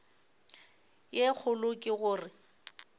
ye kgolo ke go re